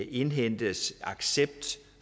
indhentes accept